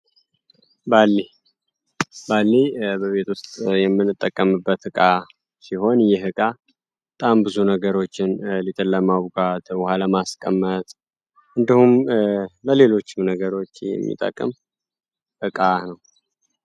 ባሌይ በቤት ውስጥ የምንጠቀምበት ዕቃ ሲሆን ይህ እቃ ጣም ብዙ ነገሮችን ሊጥን ለማቡካት፣ ውሃ ለማስቀመጥ እንዲሁም ለሌሎችም ነገሮች የሚጠቅም ዕቃ ነው።